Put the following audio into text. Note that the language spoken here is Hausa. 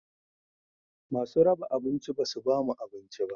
Masu raba abinci basu ba mu abinci ba